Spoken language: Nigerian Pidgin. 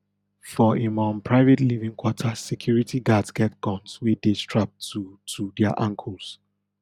for im um private living quarters security guards get guns wey dey strapped to to dia ankles